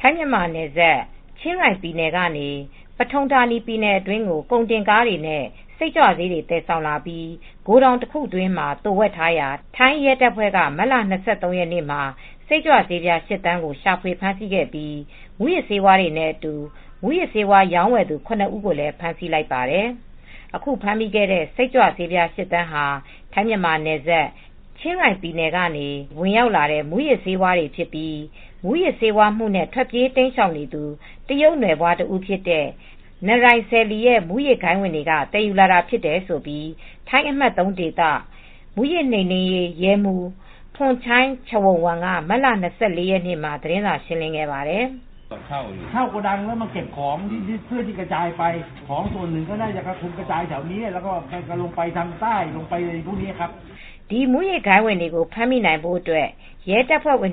ထိုင်းမြန်မာနယ်စပ် ချင်းရိုင်ပြည်နယ်ကနေ Pathumthani ပြည်နယ်အတွင်းကို ကုန်တင်ကားတွေနဲ့ စိတ်ကြွဆေးတွေ သယ်ဆောင်လာပြီး ဂိုထောင်တခုအတွင်းမှာ သိုဝှက်ထားရာ ထိုင်းရဲတပ်ဖွဲ့က မတ်လ ၂၃ ရက်နေ့မှာ စိတ်ကြွဆေးပြား ၈,၀၀၀,၀၀၀ ကို ရှာဖွေ ဖမ်းဆီးခဲ့ပြီး မူးယစ်ဆေးဝါးတွေနဲ့အတူ မူးယစ်ဆေးဝါးရောင်းဝယ်သူ ၇ ဦးကိုလည်း ဖမ်းဆီးလိုက်ပါတယ်။ အခုဖမ်းမိခဲ့တဲ့ စိတ်ကြွဆေး ၈,၀၀၀,၀၀၀ ဟာ ထိုင်းမြန်မာနယ်စပ် ချင်းရိုင်ပြည်နယ်ကနေ ဝင်ရောက်လာတဲ့ မူးယစ်ဆေးဝါးတွေဖြစ်ပြီး မူးယစ်ဆေးဝါးမှုနဲ့ ထွက်ပြေးတိမ်းရှောင်နေသူ တရုတ်နွယ်ဖွား တစ်ဦးဖြစ်တဲ့ Narai Sae Lee ရဲ့ မူးယစ်ဂိုဏ်းဝင်တွေက သယ်ယူလာတာဖြစ်တယ်လို့ ထိုင်းအမှတ် ၃ ဒေသ မူးယစ်နှိမ်နင်းရေး ရဲမှူး Pornchai Charoenwong က မတ်လ ၂၄ ရက်နေ့မှာ သတင်းစာရှင်းလင်းခဲ့ပါတယ်။ "ဒီမူးယစ်ဂိုဏ်းဝင်တွေကို ဖမ်းမိနိုင်ဖို့အတွက် ရဲတပ်ဖွဲ့က